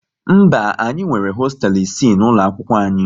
Mba, anyị nwere hosteelu isii n'ụlọ akwụkwọ anyị